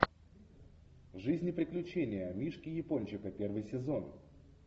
жизнь и приключения мишки япончика первый сезон